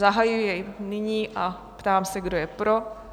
Zahajuji jej nyní a ptám se, kdo je pro?